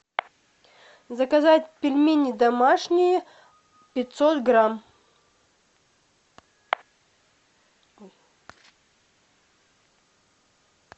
заказать пельмени домашние пятьсот грамм